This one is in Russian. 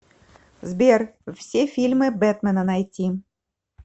сбер все фильмы бетмена найти